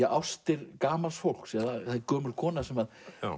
ástir gamals fólks eða það er gömul kona sem